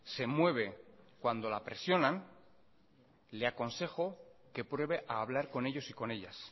se mueve cuando la presionan le aconsejo que pruebe a hablar con ellos y con ellas